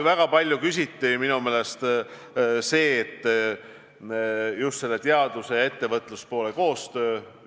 Väga palju küsiti ka teaduse ja ettevõtluse koostöö kohta.